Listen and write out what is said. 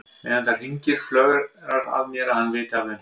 Meðan það hringir flögrar að mér að hann viti af þeim.